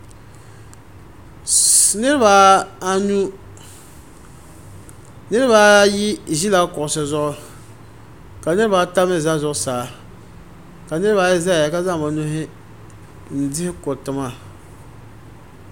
Niriba anu niriba ayi ʒila kuɣusi zuɣu ka niriba ata mi za zuɣusaa ka niriba ayi zaya ka zaŋ bi nuhi n dihi kuruti maa.